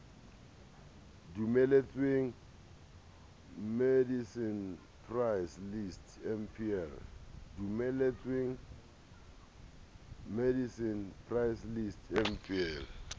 dumeletsweng medicine price list mpl